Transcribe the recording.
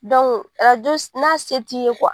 arajo n'a se t'i ye